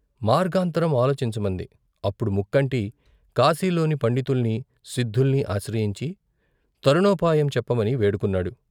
మార్గాంతరం ఆలోచించమంది అప్పుడు ముక్కంటి కాశీలోని పండితుల్ని, సిద్ధుల్ని ఆశ్రయించి తరుణో పాయం చెప్పమని వేడుకొన్నాడు.